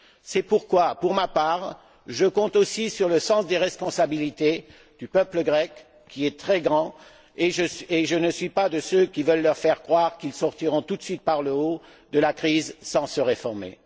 C'est pourquoi, pour ma part, je compte aussi sur le sens des responsabilités du peuple grec, qui est très grand, et je ne suis pas de ceux qui veulent leur faire croire qu'ils sortiront tout de suite par le haut de la crise sans se réformer.